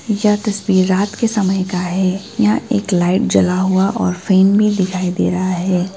यह तस्वीर रात के समय का है यहां एक लाइट जला हुआ और फैन भी दिखाई दे रहा है।